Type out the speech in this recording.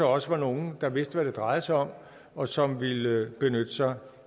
også var nogle der vidste hvad det drejede sig om og som ville benytte sig